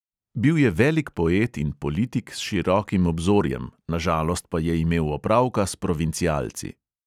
"Bil je velik poet in politik s širokim obzorjem, na žalost pa je imel opravka s provincialci."